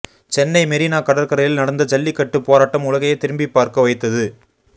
சென்னை மெரினா கடற்கரையில் நடந்த ஜல்லிக்கட்டு போராட்டம் உலகையே திரும்பி பார்க்க வைத்தது